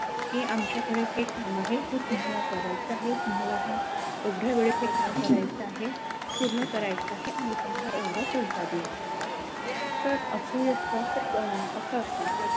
कि आमच्याकडे हे काम आहे ते ते तुम्हाला करायचा आहे तुम्हाला हा एवढ्या वेळेत हे काम करायचा आहे पूर्ण करायचा आहे आम्ही तुम्हाला एवढा पैसा देऊ तर अशी असत तर अस असत